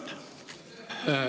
Mart Nutt.